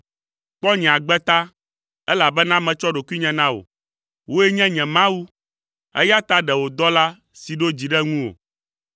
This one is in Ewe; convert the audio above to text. Kpɔ nye agbe ta, elabena metsɔ ɖokuinye na wò. Wòe nye nye Mawu, eya ta ɖe wò dɔla si ɖo dzi ɖe ŋuwò.